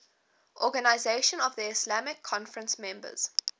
organisation of the islamic conference members